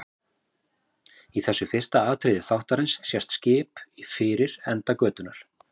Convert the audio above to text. Í þessu fyrsta atriði þáttarins sést í skip fyrir enda götunnar.